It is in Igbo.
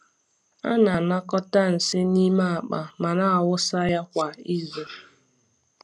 A na-anakọta nsị n’ime akpa ma na-awụsa ya kwa izu.